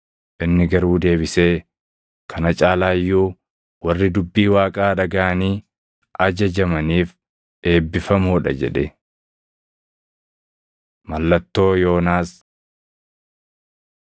Inni garuu deebisee, “Kana caalaa iyyuu, warri dubbii Waaqaa dhagaʼanii ajajamaniif eebbifamoo dha” jedhe. Mallattoo Yoonaas 11:29‑32 kwf – Mat 12:39‑42